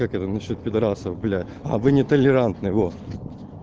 это насчёт пидарасов блять это нетолерантно вот